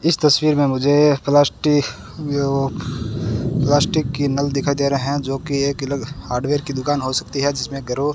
इस तस्वीर में मुझे प्लास्टिक वो प्लास्टिक की नल दिखाई दे रहे हैं जो कि एक अलग हार्डवेयर की दुकान हो सकती है जिसमें ग्रो --